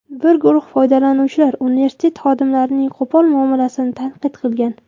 Bir guruh foydalanuvchilar universitet xodimlarining qo‘pol muomalasini tanqid qilgan.